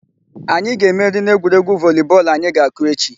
Anyị ga-emeri n'egwuregwu voli bọọlụ anyị ga-akụ echi.